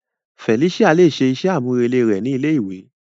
Felicia le ṣe iṣẹ amurele rẹ ni ilé ìwé.